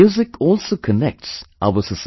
Music also connects our society